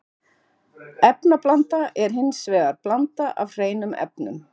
Efnablanda er hins vegar blanda af hreinum efnum.